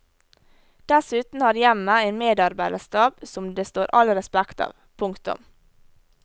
Dessuten har hjemmet en medarbeiderstab som det står all respekt av. punktum